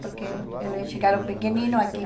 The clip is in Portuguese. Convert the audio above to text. Porque eles chegaram pequeninos aqui.